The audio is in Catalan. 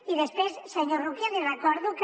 i després senyor roquer li recordo que